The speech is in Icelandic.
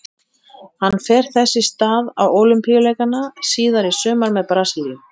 Hann fer þess í stað á Ólympíuleikana síðar í sumar með Brasilíu.